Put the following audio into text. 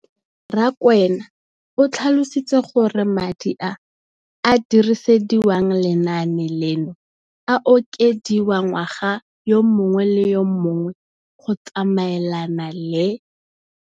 Rakwena o tlhalositse gore madi a a dirisediwang lenaane leno a okediwa ngwaga yo mongwe le yo mongwe go tsamaelana le